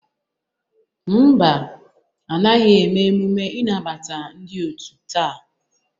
Ḿbà, anaghị eme emume ịnabata ndị otu taa.